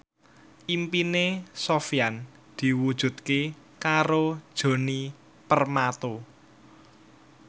impine Sofyan diwujudke karo Djoni Permato